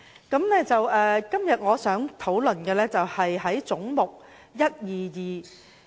今天，我想討論的是總目122。